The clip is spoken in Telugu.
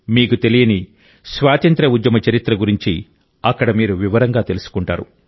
మీకు తెలియని స్వాతంత్ర్య ఉద్యమ చరిత్ర గురించి అక్కడ మీరు వివరంగా తెలుసుకుంటారు